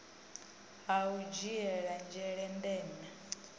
ha u dzhiele nzhele ndeme